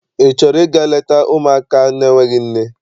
Ị chọrọ ịga leta ụmụaka n'enweghị nne?